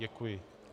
Děkuji.